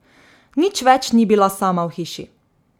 Nič več ni bila sama v hiši.